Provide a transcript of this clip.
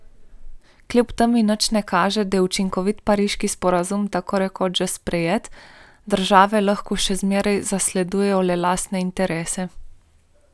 Kljub temu nič ne kaže, da je učinkovit pariški sporazum tako rekoč že sprejet, države lahko še vedno zasledujejo le lastne interese.